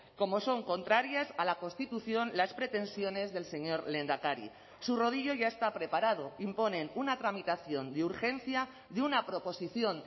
como son contrarias a la constitución las pretensiones del señor lehendakari su rodillo ya está preparado imponen una tramitación de urgencia de una proposición